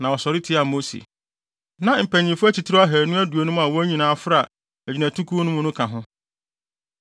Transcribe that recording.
na wɔsɔre tiaa Mose. Na mpanyimfo atitiriw ahannu aduonum a wɔn nyinaa fra agyinatukuw no mu no ka ho.